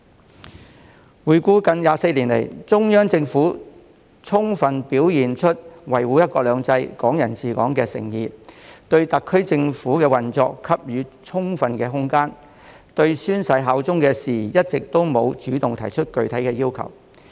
回顧回歸近24年來，中央政府充分表現出維護"一國兩制"、"港人治港"的誠意，對特區政府的運作給予充分的空間，一直沒有主動就宣誓效忠的事宜提出具體要求。